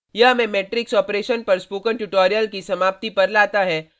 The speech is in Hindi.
यह हमें मेट्रिक्स ऑपरेशन पर स्पोकन ट्यूटोरियल की समाप्ति पर लाता है